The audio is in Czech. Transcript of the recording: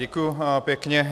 Děkuji pěkně.